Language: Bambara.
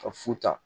Ka fu ta